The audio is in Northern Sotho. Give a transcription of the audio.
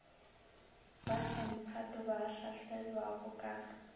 ba semphato ba hlahlelwago ka